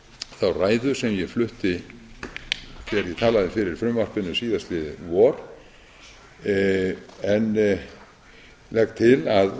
þá ræðu sem ég flutti þegar ég talaði fyrir frumvarpinu síðastliðið vor en legg til að